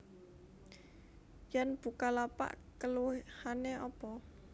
Yen Bukalapak keluwihane opo?